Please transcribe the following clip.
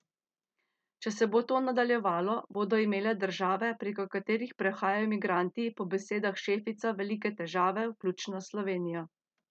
Če se bo to nadaljevalo, bodo imele države, preko katerih prehajajo migranti, po besedah Šefica velike težave, vključno s Slovenijo.